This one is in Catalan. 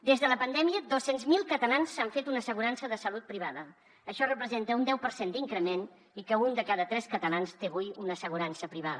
des de la pandèmia dos cents miler catalans s’han fet una assegurança de salut privada això representa un deu per cent d’increment i que un de cada tres catalans té avui una assegurança privada